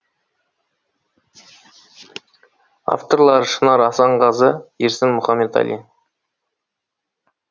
авторлары шынар асанқызы ерсін мұхаметалин